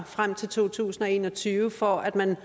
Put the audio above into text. frem til to tusind og en og tyve for at man